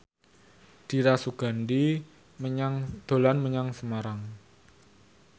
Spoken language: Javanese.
Dira Sugandi dolan menyang Semarang